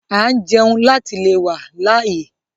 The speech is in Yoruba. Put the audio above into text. À ń jẹun láti le wá láyé